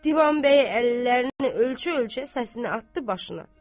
Divanbəyi əllərini ölçə-ölçə səsini atdı başına.